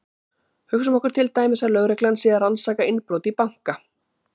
hugsum okkur til dæmis að lögreglan sé að rannsaka innbrot í banka